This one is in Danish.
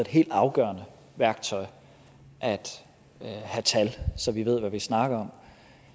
helt afgørende værktøj at have tal så vi ved hvad vi snakker om